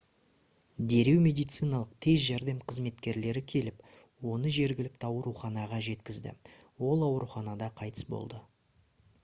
дереу медициналық тез жәрдем қызметкерлері келіп оны жергілікті ауруханаға жеткізді ол ауруханада қайтыс болды